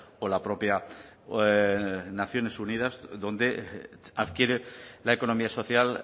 o la propia naciones unidas donde adquiere la economía social